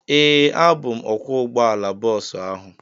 Ee, abụ m ọkwọ ụgbọala bọọsu ahụ